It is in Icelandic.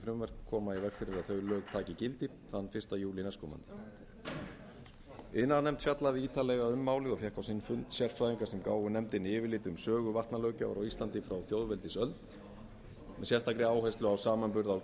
frumvörp koma í veg fyrir að þau lög taki gildi þann fyrsta júlí næstkomandi iðnaðarnefnd fjallaði ítarlega um málið og fékk á sinn fund sérfræðinga sem gáfu nefndinni yfirlit um sögu vatnalöggjafar á íslandi frá þjóðveldisöld með sérstakri áherslu á samanburð á